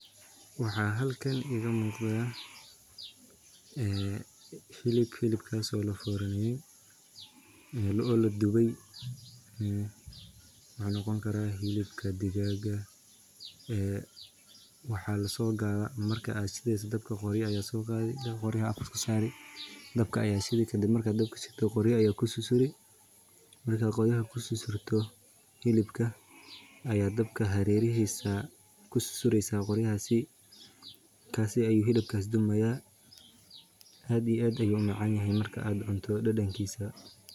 Waxa halkan iga muqda ee hilib, hilibkaas oo la forneye oo ladubay, wuxuu noqon karaa hilibka digaaga ee waxa laso qaada marka ad shideyso qoryaha ayad soo qaadi, dabka qoryaha ayad kor kasaari, dabka ayad shidi kadib markad dabka shido yad kor kasaari, qorya ayad kususuri, markad qoryaha kususurto hilibka ayad dabka hareerihisa kususureysa qoryahaasi, markaasi ayu hilibkas dubmaya aad iyo aad ayu u macaan yahay marka ad cunto dhedhenkisa